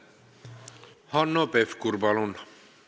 Hanno Pevkur, palun!